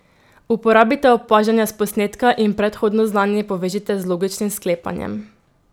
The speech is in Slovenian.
Uporabite opažanja s posnetka in predhodno znanje povežite z logičnim sklepanjem.